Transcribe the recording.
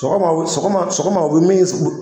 Sɔgɔma sɔgɔma sɔgɔma u bɛ min kɛ